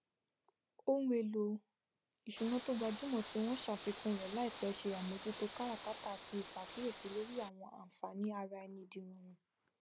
ohunèlò ìsùná to gbajúmọ tí wọn ṣàfikún rẹ láìpẹ se àmójútó káràkátà àti ìpàkíyèsí lórí àwọn ànfààní araẹni dìrọrùn